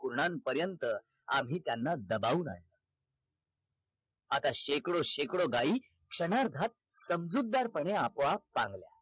कुर्णानपर्यंत आम्ही त्यांना दबावलय आता शेकडो शेकडो गाई क्षणार्धात सामजुद्दारपणे अपोआप